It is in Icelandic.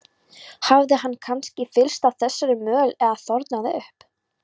Hafði hann kannski fyllst af þessari möl eða þornað upp?